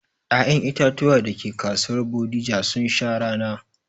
Ƴaƴen itatuwan dake kasuwar Bodija sun sha rana